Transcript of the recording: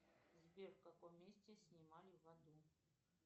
сбер в каком месте снимали в аду